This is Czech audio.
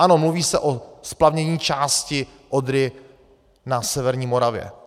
Ano, mluví se o splavnění části Odry na severní Moravě.